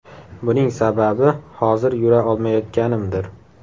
Buning sababi, hozir yura olmayotganimdir.